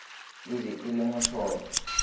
e be e le mohlolo